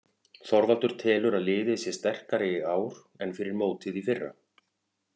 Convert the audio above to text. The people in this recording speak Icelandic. Þorvaldur telur að liðið sé sterkara í ár en fyrir mótið í fyrra.